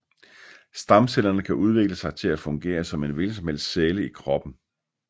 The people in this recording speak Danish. Stamcellerne kan udvikle sig til at fungere som en hvilken som helst celle i kroppen